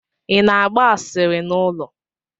Ị na-agba asịrị n'ụlọ?